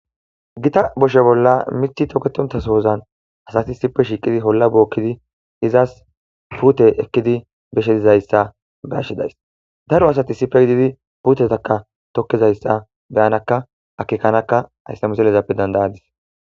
gita boshe bolla mithi toketontasohozan asati sipe shiiqidi holla bookkidi izas puute ekkidi beshetizayssa bashidays daro asati sipe gididi puutetakka tokkizayssa beyanakka akekanakka hayssa miselezappe dandayadis